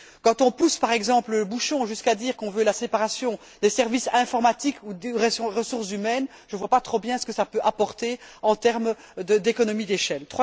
Quand on pousse par exemple le bouchon jusqu'à dire qu'on veut la séparation des services informatiques ou des ressources humaines, je ne vois pas trop bien ce que ça peut apporter en termes d'économie d'échelle.